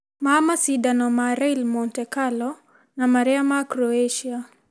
ma macindano ma Rallye Monte Carlo na marĩa ma Croatia.